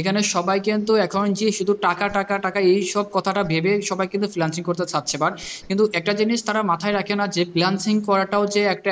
এখানে সবাই কিন্তু এখন যে টাকা টাকা টাকা এইসব কথাটা ভেবে সবাই কিন্তু freelancing করতে চাইছে but কিন্তু একটা জিনিস তারা মাথায় রাখে না যে freelancing করাটাও